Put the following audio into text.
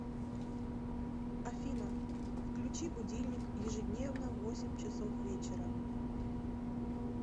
афина включи будильник ежедневно в восемь часов вечера